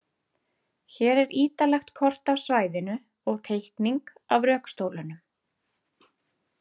Hér er ítarlegt kort af svæðinu og teikning af rökstólunum.